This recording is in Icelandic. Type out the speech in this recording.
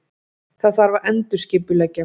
Það þarf að endurskipuleggja.